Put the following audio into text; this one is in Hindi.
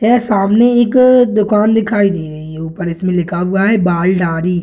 यह सामने एक दुकान दिखाई दे रही है ऊपर इसमें लिखा हुआ है बाल-दाढ़ी।